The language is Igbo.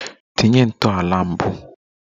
Tinye ntọala mbụ!